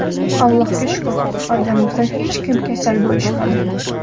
Allohga shukr oilamizdan hech kim kasal bo‘lishmadi.